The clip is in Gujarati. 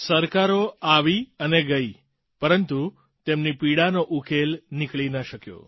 સરકારો આવી અને ગઈ પરંતુ તેમની પીડાનો ઉકેલ નીકળી ન શક્યો